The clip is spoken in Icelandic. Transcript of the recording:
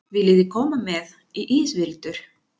Viljiði koma með í ísbíltúr?